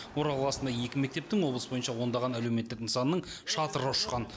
орал қаласында екі мектептің облыс бойынша ондаған әлеуметтік нысанның шатыры ұшқан